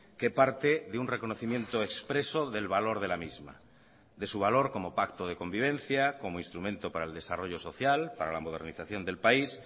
que parte de un reconocimiento expreso del valor de la misma de su valor como pacto de convivencia como instrumento para el desarrollo social para la modernización del país